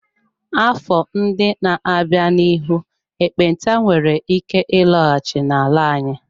Afọ ndị na-abịa, n'ihu ekpenta nwere ike ịlọghachi n'ala anyị.